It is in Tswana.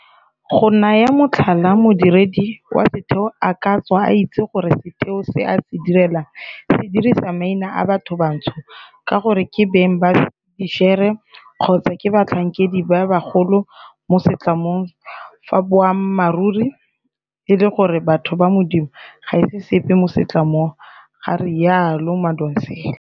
Go naya motlhala, modiredi wa setheo a ka tswa a itse gore setheo se a se direlang se dirisa maina a bathobantsho ka gore ke beng ba dišere kgotsa ke batlhankedi ba bagolo mo setlamong fa boammaruri e le gore batho ba modimo ga se sepe mo setlamong, ga rialo Madonsela.